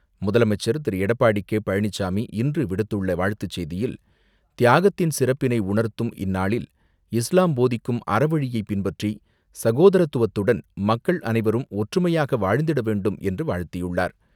முதலமைச்சர் திரு.எடப்பாடி கே.பழனிச்சாமி இன்று விடுத்துள்ள வாழ்த்துச்செய்தியில், தியாகத்தின் சிறப்பினை உணர்த்தும் இந்நன்னாளில் இஸ்லாம் போதிக்கும் அறவழியை பின்பற்றி, சகோதரத்துவத்துடன் மக்கள் அனைவரும் ஒற்றுமையாக வாழ்ந்திட வேண்டும் என்று, வாழ்த்தியுள்ளார்.